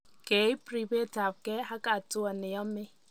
Keib ribetabgei ak hatua ne yamei.